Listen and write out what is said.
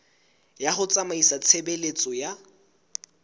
ya ho tsamaisa tshebeletso ya